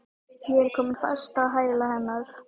Ég er komin fast á hæla hennar.